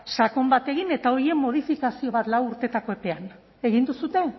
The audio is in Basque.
sakon bat egin eta horien modifikazio bat lau urtetako epean egin duzue